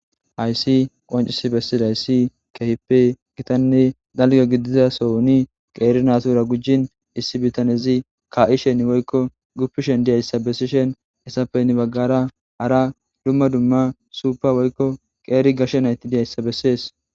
Hayssi qonccisi bessida issi keehipe gitanne dalgga gidiza sohoni qeeri naatura gujin issi bitanezi ka'ishen woykko guppishen diya issa bessishen he issape guyye baggara hara dumma dumma suupa woykko qeeri gashshe nayti diyay issa bessees.